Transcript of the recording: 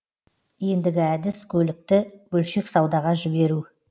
ендігі әдіс көлікті бөлшек саудаға жіберу